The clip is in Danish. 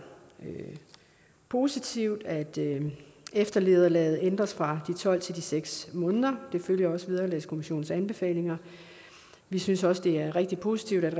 positivt at eftervederlaget ændres fra de tolv til de seks måneder og det følger også vederlagskommissionens anbefalinger vi synes også det er rigtig positivt